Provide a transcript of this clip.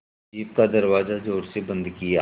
jeep का दरवाज़ा ज़ोर से बंद किया